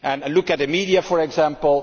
Look at the media for example.